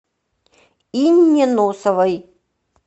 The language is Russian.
инне носовой